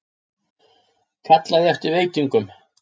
Kallaði eftir veitingum.